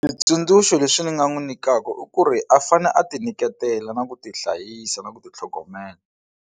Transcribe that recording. Switsundzuxo leswi ni nga n'wi nyikaka i ku ri a fanele a ti nyiketela na ku tihlayisa na ku titlhogomela.